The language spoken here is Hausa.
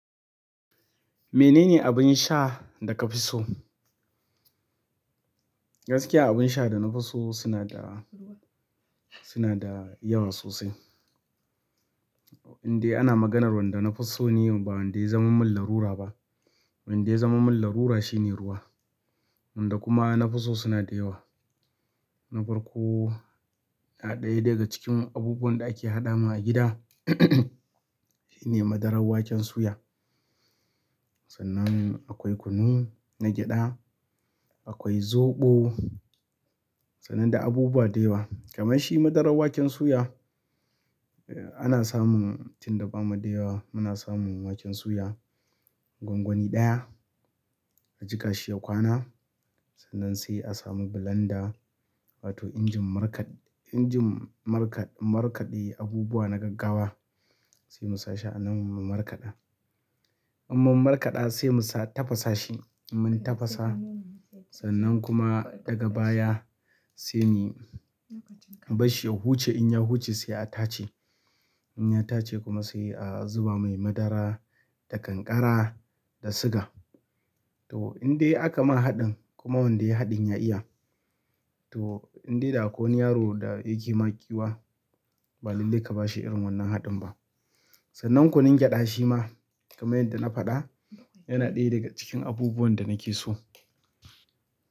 Menene abin sha da ka fi so? Gaskiya abin sha da na fi so suna da, suna da yawa sosai. Inde ana maganar wanda na fi so ne, ba wanda ya zama min larura ba. Wanda ya zama min larura shine ruwa. Wanda kuma na fi so suna da yawa. Na farko, na ɗaya daga cikin abubuwan da ake haɗa mun a gida shine madarar waken suya. Sannan akwai kunu na gyaɗa, akwai zoɓo, sannan da abubuwa da yawa. Kamar shi madarar waken suya, eh, ana samun tun da bamu da yawa, muna samun waken suya gwangwani ɗaya, a jika shi ya kwana. Sannan sai a samu blender wato injin markaɗ- injin markaɗ- markaɗe abubuwa na gaggawa. Sai mu sa shi a nan mu markaɗa. In mun markaɗa sai mu sa tafasa shi. Mun tafasa sannan kuma daga baya sai mu bar shi ya huce. In ya huce sai a tace. In ya tace kuma sai a zuba mai madara da kankara da siga. To, indai aka ma haɗin, kuma wanda yai haɗin ya iya. To, indai da akwai wani yaro da yake ma kiwa, ba lalle ka ba shi irin wannan haɗin ba. Sannan kunun gyaɗa shi ma, kamar yadda na faɗa, yana ɗaya daga cikin abubuwan da nake so.